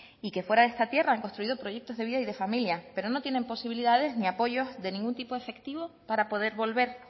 y que fuera de esta tierra han construido proyectos de vida y de familia pero no tienen posibilidades ni apoyos de ningún tipo efectivo para poder volver